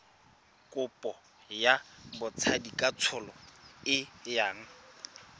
kopo ya botsadikatsholo e yang